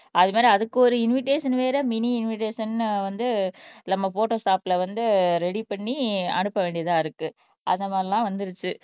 அது மாதிரி அதுக்கு ஒரு இன்விடேஷன் வேற மினி இன்விடேஷன்னு வந்து நம்ம போட்டோஷாப்ல வந்து ரெடி பண்ணி அனுப்ப வேண்டியதா இருக்கு அந்த மாதிரிலாம் வந்துருச்சு